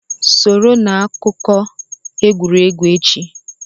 Soro na akụkọ egwuregwu echi!